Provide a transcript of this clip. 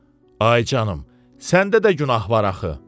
Ay canım, səndə də günah var axı.